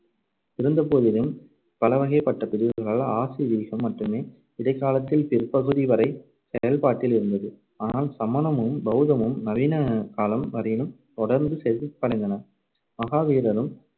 இருந்தபோதிலும் பலவகைப்பட்ட பிரிவுகளால் ஆசீவீகம் மட்டுமே இடைக்காலத்தில் பிற்பகுதிவரை செயல்பாட்டில் இருந்தது. ஆனால் சமணமும், பௌத்தமும் நவீன காலம் வரையிலும் தொடர்ந்து செழிப்படைந்தன. மகாவீரரும்